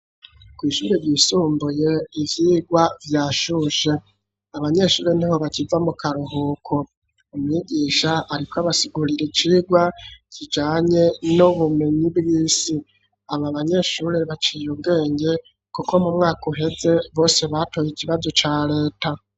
Kw'Ishuri ryisumbuye ivyigwa vyashushe, abanyeshuri niho bakiva mu karuhuko ,umwigisha ariko abasigurire icigwa kijanye n'ubumenyi bw'isi, aba banyeshuri baciye ubwenge kuko mu mwaka uheze bose batoye ikibazo ca Leta.